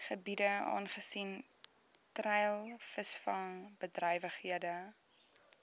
gebiede aangesien treilvisvangbedrywighede